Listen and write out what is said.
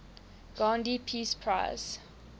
gandhi peace prize